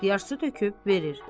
İxtiyar su töküb verir.